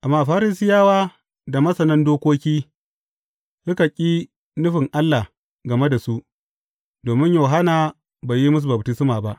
Amma Farisiyawa da masanan dokoki, suka ƙi nufin Allah game da su, domin Yohanna bai yi musu baftisma ba.